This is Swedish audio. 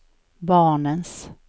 barnens